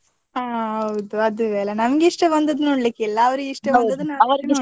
ಅಹ್ ಹೌದು ಅದುವೇ ಅಲ್ಲಾ ನಮ್ಗೆ ಇಷ್ಟ ಬಂದದ್ದು ನೋಡ್ಲಿಕ್ಕಿಲ್ಲ, ಅವ್ರಿಗೆ ನೋಡ್ಬೇಕು.